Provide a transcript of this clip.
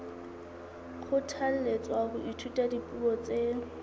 kgothalletswa ho ithuta dipuo tse